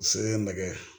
Sele nɛgɛ